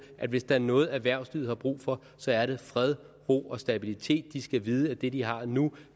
at hvis der er noget erhvervslivet har brug for så er det fred ro og stabilitet de skal vide at det de har nu